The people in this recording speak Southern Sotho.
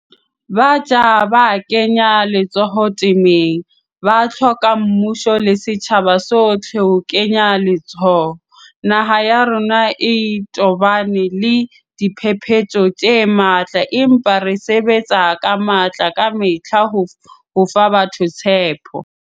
Batjha ba kenya letsoho temeng, ba hloka mmuso le setjhaba sohle ho kenya letsoho. Naha ya rona e tobane le diphephetso tse matla, empa re sebetsa ka matla kamehla ho fa batho tshepo.